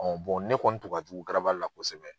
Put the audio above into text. ne kɔni tun ka jugu la kosɛbɛ.